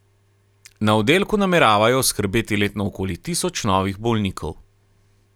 Na oddelku nameravajo oskrbeti letno okoli tisoč novih bolnikov.